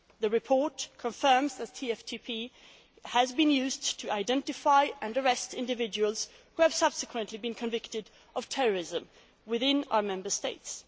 The report confirms that TFTP has been used to identify and arrest individuals who have subsequently been convicted of terrorism within our Member States.